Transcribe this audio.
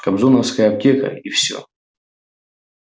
кобзоновская аптека и все